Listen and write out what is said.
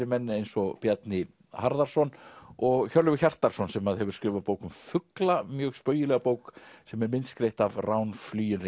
menn eins og Bjarni Harðarson og Hjörleifur Hjartarson sem hefur skrifað bók um fugla mjög spaugilega bók sem er myndskreytt af Rán